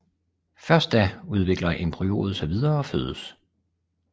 Først da udvikler embryoet sig videre og fødes